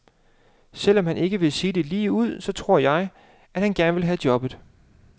Selvom han ikke vil sige det ligeud, så tror jeg, at han gerne vil have jobbet.